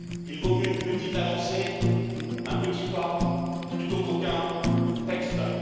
Il vaut mieux une petite avancée, un petit pas, plutôt qu'aucun texte.